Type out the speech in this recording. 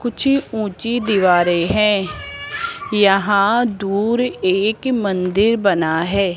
कुछ ऊंची दीवारें हैं यहां दूर एक मंदिर बना है।